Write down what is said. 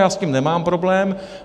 Já s tím nemám problém.